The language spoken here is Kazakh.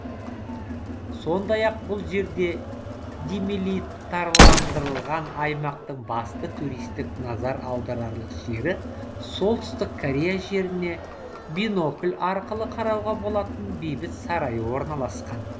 сондай ақ бұл жерде демилитарландырылған аймақтың басты туристік назар аударарлық жері солтүстік корея жеріне бинокль арқылы қарауға болатын бейбіт сарайы орналасқан